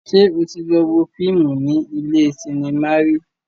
Ṣé o tí lọ wo fíìmù ní ilé cinema rí?